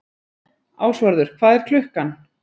Ásvarður, hvað er klukkan?